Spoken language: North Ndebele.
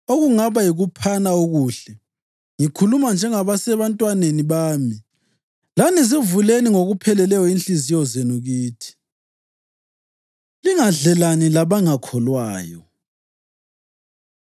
Okungaba yikuphana okuhle, ngikhuluma njengasebantwaneni bami, lani zivuleni ngokupheleleyo inhliziyo zenu kithi. Lingadlelani Labangakholwayo